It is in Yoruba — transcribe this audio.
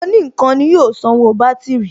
Òní ǹkan ni yóò sanwó bátìrì